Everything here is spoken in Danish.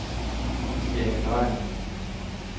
Kristiane Dreier